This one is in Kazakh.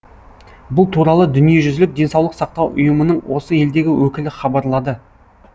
бұл туралы дүниежүзілік денсаулық сақтау ұйымының осы елдегі өкілі хабарлады